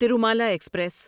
Tirumala express